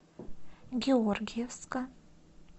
георгиевска